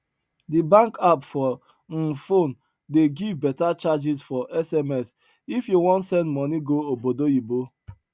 di bank app for um phone dey give beta charges for sms if you wan send money go obodoyibo